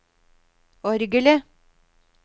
orgelet